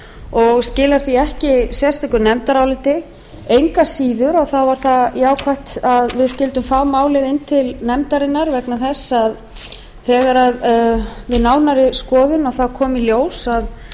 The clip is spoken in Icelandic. og skilar því ekki sérstöku nefndaráliti engu að síður var það jákvætt að við skyldum fá málið inn til nefndarinnar vegna þess að við nánari skoðun kom í ljós